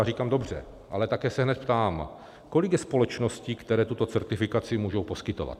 A říkám dobře, ale také se hned ptám: Kolik je společností, které tuto certifikaci můžou poskytovat?